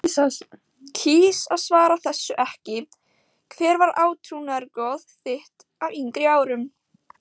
kýs að svara þessu ekki Hver var átrúnaðargoð þitt á yngri árum?